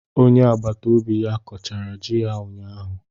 Onye agbata obi ya kọchara ji ya ụnyahụ.